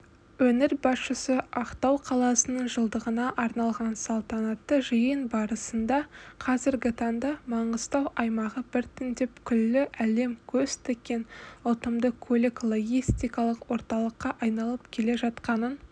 өңір басшысыақтау қаласының жылдығына арналғансалтанатты жиын барысындақазіргі таңда маңғыстау аймағы біртіндеп күллі әлем көз тіккен ұтымды көлік-логистикалық орталыққа айналып келе жатқанын